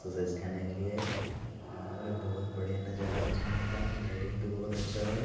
Exercise करने के लिए और बहुत बढ़िया नजारा है जिम का लाइटिंग भी बहुत अच्छा है।